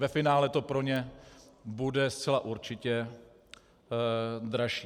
Ve finále to pro ně bude zcela určitě dražší.